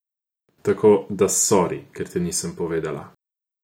Tako, da sori, ker ti nisem povedala.